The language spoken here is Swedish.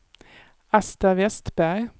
Asta Vestberg